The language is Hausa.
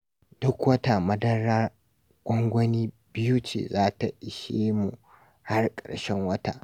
Duk wata madara gwangwani biyu ce za ta ishe mu har ƙarshen wata